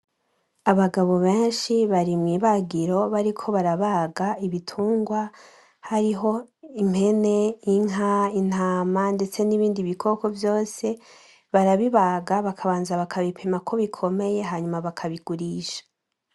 Abagabo benshi bari mw'ibagiro bariko barabaga ibitungwa hariho impene, inka, intama ndetse n'ibindi bikoko vyose barabibaga bakabanza bakabipimako bikomeye hanyuma bakabigurisha.